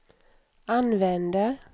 använder